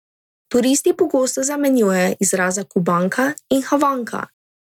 Turisti pogosto zamenjujejo izraza Kubanka in havanka.